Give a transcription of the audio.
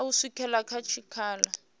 na u swikela kha tshikhala